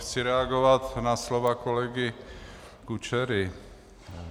Chci reagovat na slova kolegy Kučery.